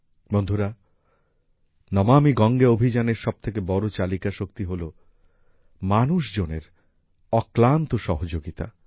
বন্ধুরা নমামি গঙ্গে অভিযানের সবথেকে বড় চালিকা শক্তি হলো মানুষজনের অক্লান্ত সহযোগিতা